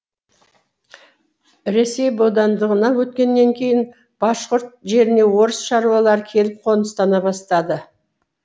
ресей бодандығына өткеннен кейін башқұрт жеріне орыс шаруалары келіп қоныстана бастады